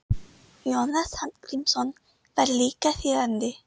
Jónas Hallgrímsson var líka þýðandi.